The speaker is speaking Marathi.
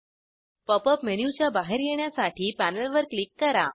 पॉप अप मेनूच्या बाहेर येण्यासाठी पॅनलवर क्लिक करा